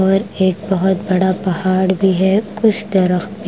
और एक बहुत बड़ा पहाड़ भी है कुछ दरख्त--